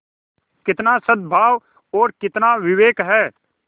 कितना सदभाव और कितना विवेक है